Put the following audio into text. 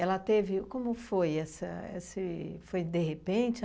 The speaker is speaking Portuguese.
teve... como foi essa esse... foi de repente?